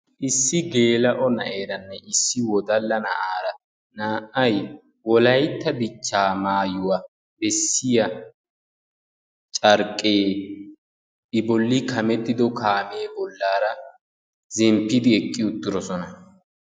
Issi geela'o na'eranne issi wodalla na'ara na'ay wolaytta dichcha maayuwaa bessiyaa cariqqe i bolli kamettido kaame bollara zemppidi eqqi uttidosona.